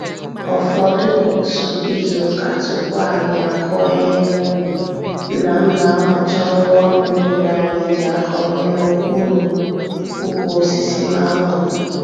Ọfọdụ otú izuka tupu anyị akụọ ihe n'ubi, Nna m na-amụcha ngwaọrụ niile anyị ji akọ ihe n'okpuru ukwu osisi mango.